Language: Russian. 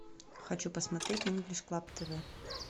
хочу посмотреть инглиш клаб тв